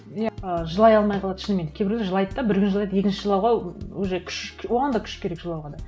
иә жылай алмай қалады шынымен кейбіреуі жылайды да бір күн жылайды екінші жылауға уже күш оған да күш керек жылауға да